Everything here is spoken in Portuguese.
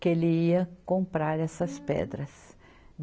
que ele ia comprar essas pedras.